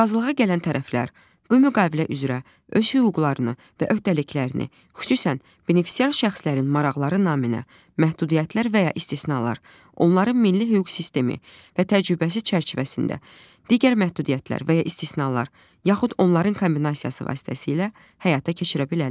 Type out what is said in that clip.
Razılığa gələn tərəflər bu müqavilə üzrə öz hüquqlarını və öhdəliklərini, xüsusən benefisiar şəxslərin maraqları naminə məhdudiyyətlər və ya istisnalar, onların milli hüquq sistemi və təcrübəsi çərçivəsində digər məhdudiyyətlər və ya istisnalar, yaxud onların kombinasiyası vasitəsilə həyata keçirə bilərlər.